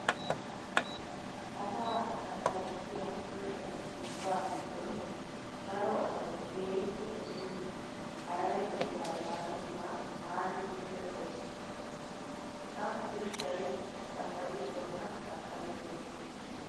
A saa sakkarissiyaa ushshatu ubbaa giddon daro asayi keehippe dosiyoo harare biraa yaagiyoogaa taani muuleera dosikke. Ha ushshayi sakkarissuwaakka sakkarisses.